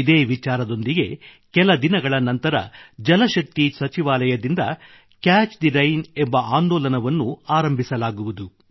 ಇದೇ ವಿಚಾರದೊಂದಿಗೆ ಕೆಲ ದಿನಗಳ ನಂತರ ಜಲಶಕ್ತಿ ಸಚಿವಾಲಯದಿಂದ ಕ್ಯಾಚ್ ಥೆ ರೈನ್ ಎಂಬ ಆಂದೋಲನವನ್ನು ಆರಂಭಿಸಲಾಗುವುದು